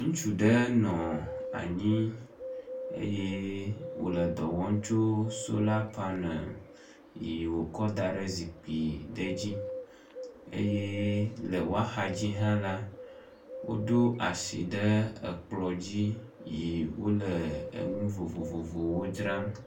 Ŋutsu ɖe nɔ anyi eye wòle dɔ wɔm tso sola panel yi wòkɔ da ɖe zikpui ɖe dzi. Eye le woa xa dzi hã la, woɖo asi ɖe ekplɔ dzi yi wole enu vovovowo dzram.